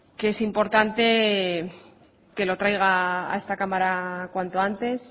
que es importante que lo traiga a esta cámara cuanto antes